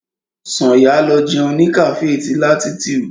Sànyà lọ jẹun ní cafe ti latitude.